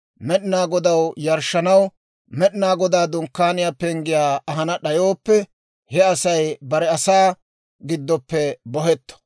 Med'inaa Godaw yarshshanaw Med'inaa Godaa Dunkkaaniyaa penggiyaa ahana d'ayooppe, he Asay bare asaa giddoppe bohetto.